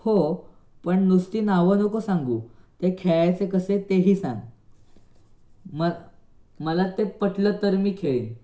हो पण नुसती नाव नको सांगू ते खेळायचे कसे ते ही सांग मग मला ते पटलं तर मी ते खेळीन .